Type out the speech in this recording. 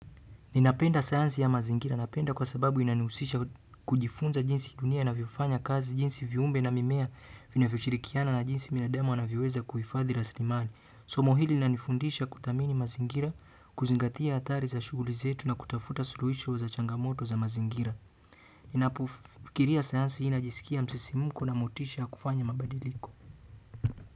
Ninapenda sayanzi ya mazingira. Napenda kwa sababu inaniusisha kujifunza jinsi dunia inavyofanya kazi, jinsi viumbe na mimea vinavyoshirikiana na jinsi binadamu wanavyoweza kuifadhi raslimali. Somo hili linanifundisha kuthamini mazingira, kuzingatia hatari za shuguli zetu na kutafuta suluhisho za changamoto za mazingira. Ninapo fikiria sayanzi najiskia msisimuko na motisha ya kufanya mabadiliko.